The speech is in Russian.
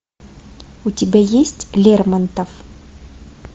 у тебя есть лермонтов